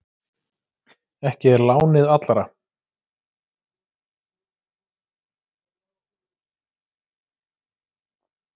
Ekki er lánið allra.